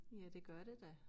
Ja det gør det da